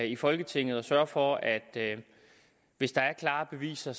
i folketinget at sørge for at hvis der er klare beviser